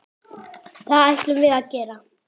Það ætlum við að gera.